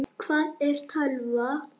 Hvað er tölva?